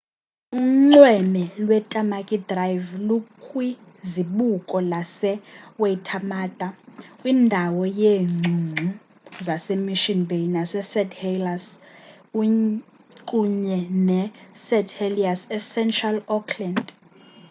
unxweme lwetamaki drive lukwizibuko lase-waitermata kwindawo yeengcungcu zase-mission bay nase-st helliers unye ne-st heliers ecentral auckland